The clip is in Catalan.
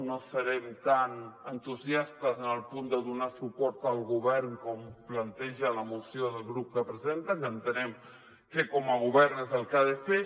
no serem tan entusiastes en el punt de donar suport al govern com planteja el grup la que presen·ta que entenem que com a govern és el que ha de fer